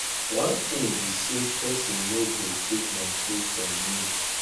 one thing be say person no go take my thing from me